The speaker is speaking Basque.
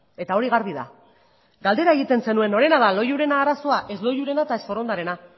eta hori garbi da galdera egiten zenuen norena da loiuren arazoa ez loiurena ezta forondarena